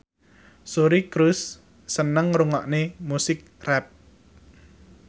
Suri Cruise seneng ngrungokne musik rap